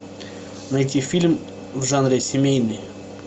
найти фильм в жанре семейный